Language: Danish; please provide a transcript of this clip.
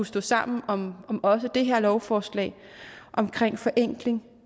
stå sammen om om også det her lovforslag om forenkling